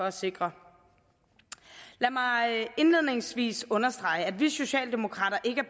at sikre lad mig indledningsvis understrege at vi socialdemokrater ikke